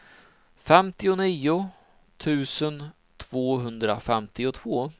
femtionio tusen tvåhundrafemtiotvå